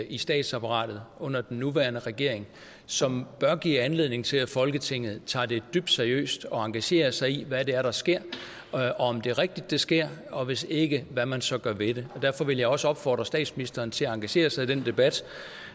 i statsapparatet under den nuværende regering som bør give anledning til at folketinget tager det dybt seriøst og engagerer sig i hvad det er der sker og om det er rigtigt det sker og hvis ikke hvad man så gør ved det derfor vil jeg også opfordre statsministeren til at engagere sig i den debat